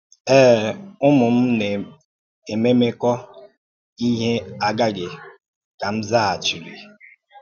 Èé é, Ụ́mù m na-émémékọ̀ íhè agàghị̀,” kà m zàghàchìrì.